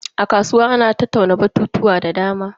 A kasuwa ana tattauna batutuwa da dama.